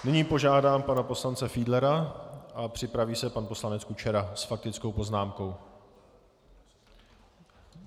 Nyní požádám pana poslance Fiedlera a připraví se pan poslanec Kučera s faktickou poznámkou.